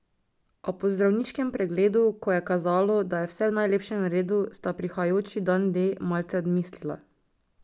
A po zdravniškem pregledu, ko je kazalo, da je vse v najlepšem redu, sta prihajajoči dan D malce odmislila.